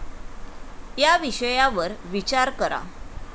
या विषयावर विचार करा.